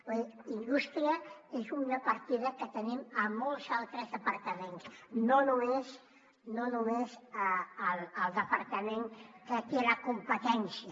vull dir indústria és una partida que tenim a molts altres departaments no només al departament que en té la competència